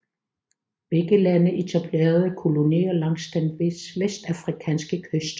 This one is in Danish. Begge lande etablerede kolonier langs den vestafrikanske kyst